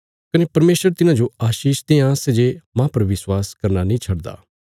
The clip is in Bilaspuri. कने परमेशर तिन्हांजो आशीष देआं सै जे माह पर विश्वास करना नीं छडदा